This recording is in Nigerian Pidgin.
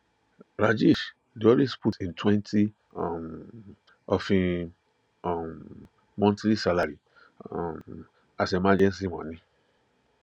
rajesh dey always put him twenty um of him um monthly salary um as emergency money